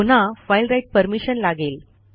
पुन्हा file write permission लागेल